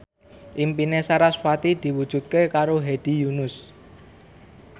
impine sarasvati diwujudke karo Hedi Yunus